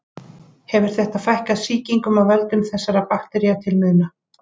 Hefur þetta fækkað sýkingum af völdum þessara baktería til muna.